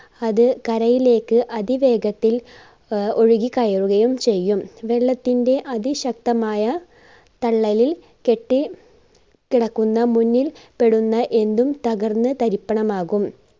അത് കരയിലേക്ക് അതിവേഗത്തിൽ ആഹ് ഒഴുകി കയറുകയും ചെയ്യും. വെള്ളത്തിന്റെ അതിശക്തമായ തള്ളലിൽ കെട്ടി കിടക്കുന്ന മുന്നിൽ പെടുന്ന എന്തും തകർന്ന് തരിപ്പണമാകും.